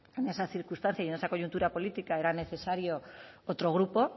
en esa circunstancia y en esa coyuntura política era necesario otro grupo